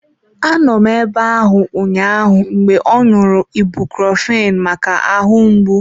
Anọ m ebe ahụ ụnyaahụ mgbe ọ ṅụrụ ibucrofen maka ahụ mgbu.